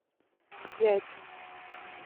яйца